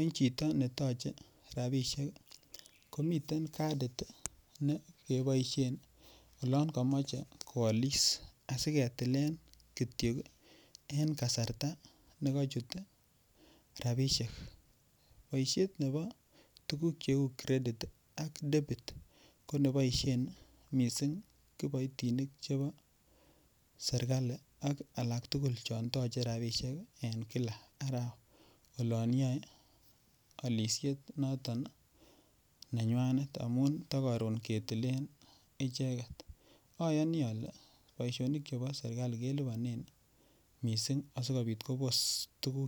en chito netoche rabishek iih komiten kadiit negeboishen yoon komoche kwoliis asigetileen kityo en kasarta negochuu rabishek, boisheet nebo neuu credit iih ak debit, koneboishen mising iboitinik chebo serkalia ak alaak tugul chon toche rabishek en araweet olonyoe olisheet noton nenywaneet amuun to koroon ketileen icheget, oyonii ole boishonik chebo serkali kelibonen mising asigobiit koboos tuguk